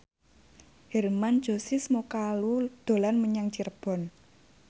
Hermann Josis Mokalu dolan menyang Cirebon